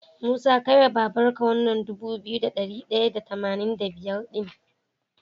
Musa kai wa babar ka wannan Dubu biyu da dari daya da tamanin da biyar din